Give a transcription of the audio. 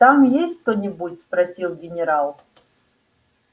там есть кто-нибудь спросил генерал